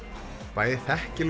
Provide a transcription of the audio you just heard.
bæði þekki